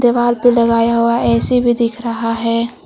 Wall पे लगाया हुआ ऐ सी भी दिख रहा है।